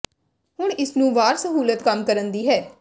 ਹੁਣ ਇਸ ਨੂੰ ਵਾਰ ਸਹੂਲਤ ਕੰਮ ਕਰਨ ਦੀ ਹੈ